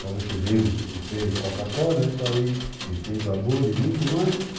Talvez vocês lembrem, não sei, Coca-Cola, isso aí, e tem sabor, e muito mais.